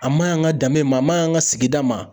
A maɲi an ka danbe ma, a maɲi an ka sigida ma.